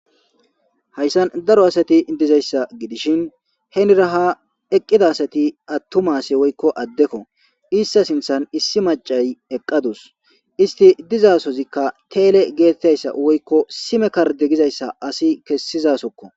haysan daro asati dizaysa gidishen henera ha eqida asati atuma asi woyko adeko itata sinthan issi macay eqadusu isti dizasozikka tele getizaysa woyko sime karde gizaysa asi kesizasokko